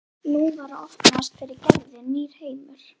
Nú var að opnast fyrir Gerði nýr heimur.